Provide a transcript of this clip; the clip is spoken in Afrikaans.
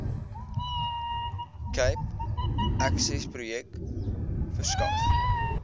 cape accessprojek verskaf